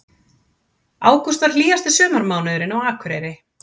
Ágúst varð hlýjasti sumarmánuðurinn á Akureyri